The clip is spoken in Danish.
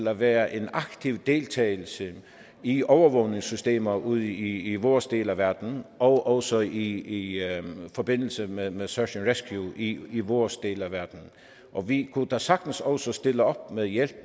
at være en aktiv deltagelse i overvågningssystemer ude i vores del af verden og også i forbindelse med med search and rescue i i vores del af verden og vi kunne da sagtens også stille op med hjælp